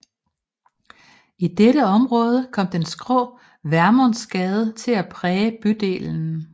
I dette område kom den skrå Vermundsgade til at præge bydelen